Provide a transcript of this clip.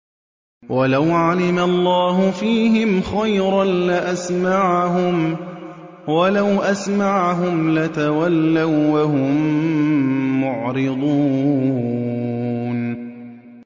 وَلَوْ عَلِمَ اللَّهُ فِيهِمْ خَيْرًا لَّأَسْمَعَهُمْ ۖ وَلَوْ أَسْمَعَهُمْ لَتَوَلَّوا وَّهُم مُّعْرِضُونَ